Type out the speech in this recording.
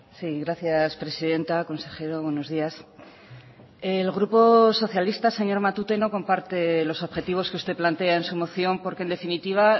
sí gracias presidenta consejero buenos días el grupo socialista señor matute no comparte los objetivos que usted plantea en su moción porque en definitiva